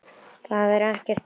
Það er ekkert veður.